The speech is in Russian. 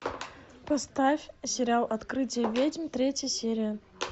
поставь сериал открытие ведьм третья серия